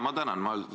Ma tänan!